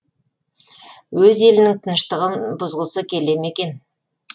өз елінің тыныштығын бұзғысы келеме екен